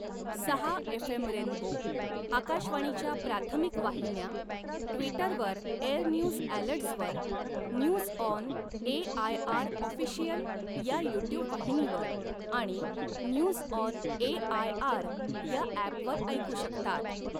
सहा FM rainbow, आकाशवाणीच्या प्राथमिक वाहिन्या, ट्विटरवर एअरन्यूज ॲलर्ट्सवर, न्यूज ऑन एआयआर ऑफिशियल या युट्युब वाहिनीवर आणि न्यूज ऑन एआयआर या ॲपवर ऐकू शकतात.